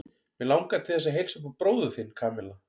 Mig langar til þess að heilsa upp á bróður þinn, Kamilla.